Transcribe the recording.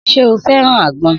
Sé o feran àgbọn?